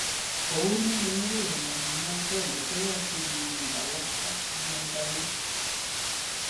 Kounon eng muguleldo neagenge ,koyoche irib alak ak mionda nguk.